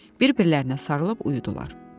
Bir-birlərinə sarılıb uyudular.